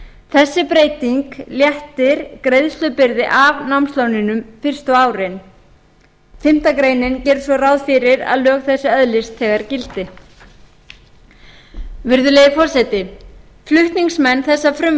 þessi breyting léttir greiðslubyrði af námslánunum fyrstu árin fimmtu grein gerir svo ráð fyrir að lög þessi öðlist þegar gildi virðulegi forseti flutningsmenn þessa frumvarps